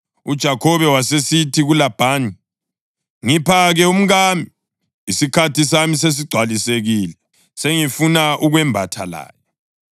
UJakhobe wasesithi kuLabhani, “Ngipha-ke umkami. Isikhathi sami sesigcwalisekile, sengifuna ukwembatha laye.”